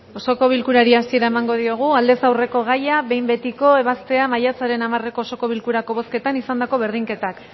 osoko bilkurari hasiera emango diogu aldez aurreko gaia behin betiko ebaztea maiatzaren hamareko osoko bilkurako bozketan izandako berdinketak